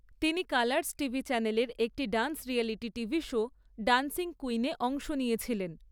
তিনি Colors TV চ্যানেলের একটি dance reality TV show dancing কুইনে অংশ নিয়েছিলেন।